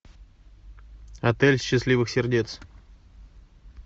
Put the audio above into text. отель счастливых сердец